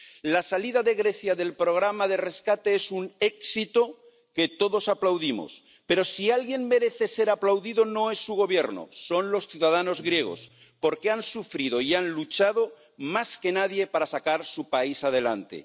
La salida de Grecia del programa de rescate es un éxito que todos aplaudimos, pero, si alguien merece ser aplaudido, no es su Gobierno, son los ciudadanos griegos, porque han sufrido y han luchado más que nadie para sacar su país adelante.